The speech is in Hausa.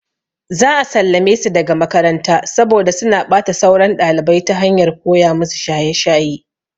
Za a sallame su daga makaranta saboda suna ɓata sauran ɗalibai ta hanyar koya musu shaye shaye.